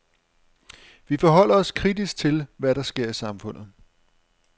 Vi forholder os kritisk til, hvad der sker i samfundet.